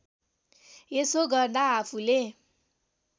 यसो गर्दा आफूले